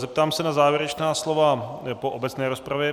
Zeptám se na závěrečná slova po obecné rozpravě.